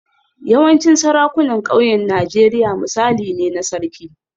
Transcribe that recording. Yawancin sarakunan ƙauyen Najeriya misali ne na Sarki